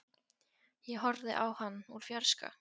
Ég horfði á hann úr fjarska.